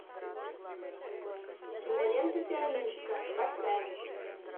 кинолента пианистка поставь